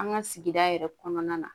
An ka sigida yɛrɛ kɔnɔna na